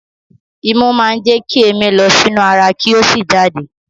Imú máa ń jẹ kí èémí lọ sí inú ara kí ó sì jáde.